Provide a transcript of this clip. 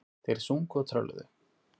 Þeir sungu og trölluðu.